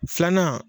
Filanan